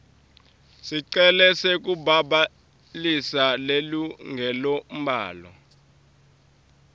sicelo sekubhalisa lilungelombhalo